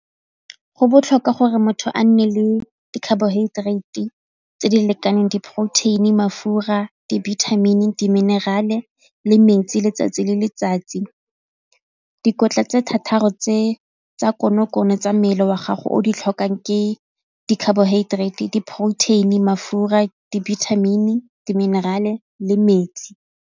Go botlhokwa gore motho a nne le di-carbohydrate-e tse di lekaneng diporoteini, mafura, dibithamini di-mineral-e le metsi letsatsi le letsatsi. Dikotla tse thataro tsa konokono tsa mmele wa gago o di tlhokang ke di-carbohydrate, diporoteini, mafura, dibithamini di minerale le metsi